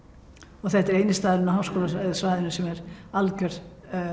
og þetta er eini staðurinn á háskólasvæðinu sem er algjört